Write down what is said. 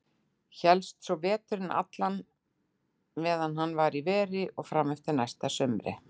Hélst svo veturinn allan meðan hann var í veri og fram eftir næsta sumri.